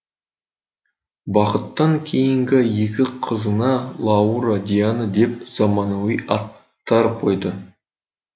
бақыттан кейінгі екі қызына лаура диана деп заманауи аттар қойды